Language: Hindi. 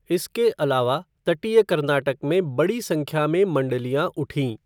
इसके अलावा, तटीय कर्नाटक में बड़ी संख्या में मंडलियाँ उठीं।